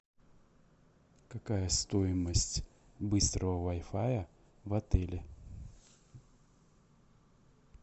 какая стоимость быстрого вай фая в отеле